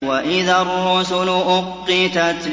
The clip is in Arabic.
وَإِذَا الرُّسُلُ أُقِّتَتْ